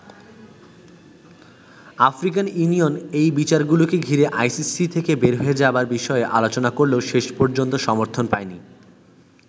African Union এই বিচারগুলোকে ঘিরে আইসিসি থেকে বের হয়ে যাবার বিষয়ে আলোচনা করলেও শেষ পর্যন্ত সমর্থন পায়নি।